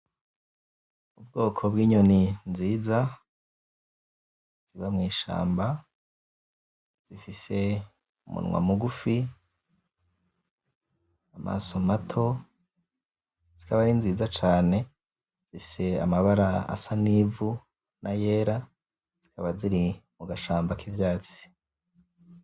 Ubwoko bw'inyoni nziza ziba mw'ishamba zifise umunwa mugufi amaso mato zikaba ari nziza cane zifise amabara asa n'ivu nayera zikaba ziri mugashamba k'ivyatsi.